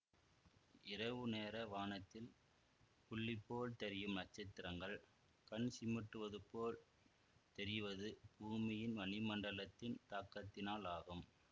இரவுநேர வானத்தில் புள்ளிபோல் தெரியும் நட்சத்திரங்கள் கண்சிமிட்டுவதுபோல் தெரிவது பூமியின் வளிமண்டலத்தின் தாக்கத்தினால் ஆகும்